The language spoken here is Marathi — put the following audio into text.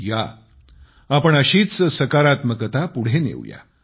या आपण अशीच सकारात्मकता पुढे नेऊया